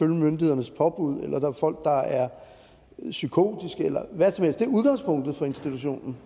myndighedernes påbud eller der er folk der er psykotiske eller hvad som helst det er udgangspunktet for institutionen